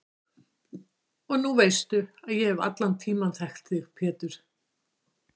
Og nú veistu að ég hef allan tímann þekkt þig Pétur.